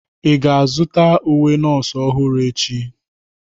Ị ga-azụta uwe nọọsụ ọhụrụ echi?